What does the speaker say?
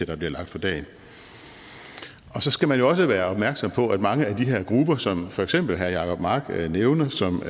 der bliver lagt for dagen så skal man jo også være opmærksom på om mange af de her grupper som for eksempel herre jacob mark nævner som